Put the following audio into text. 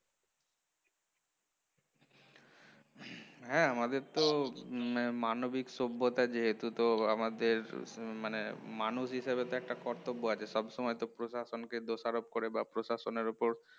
হ্যাঁ আমাদের তো উম মানবিক সভ্যতা যেহেতু তো আমাদের হম মানে মানুষ হিসেবে একটা কর্তব্য আছে সব সময় প্রশাসনকে দোষারোপ করে বা প্রশাসনের ওপর